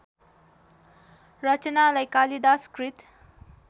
रचनालाई कालिदास कृत